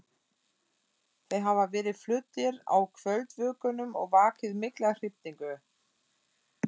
Þeir hafa verið fluttir á kvöldvökunum og vakið mikla hrifningu.